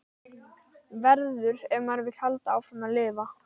Verður- ef maður vill halda áfram að lifa.